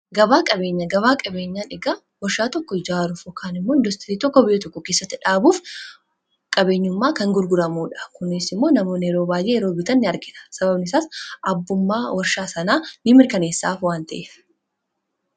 Gabaa qabeen gabaa qabeenyaa dhugaa warshaa tokko jaaru fi kaan immoon tokko biyya tokko keessatti dhaabuuf qabeenyummaa kan gurguramuudha . kunis immoo namoonni yeroo baay'ee yeroo bitanii argata sababnisaas abbummaa warshaa sanaa ni mirkaneessaaf waan ta'e.